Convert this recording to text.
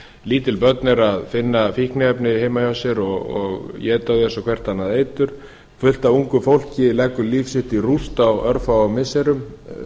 lítil börn eru að finna fíkniefni heima hjá sér og éta þau eins og hvert annað eitur fullt af ungu fólki leggur líf sitt í rúst á örfáum missirum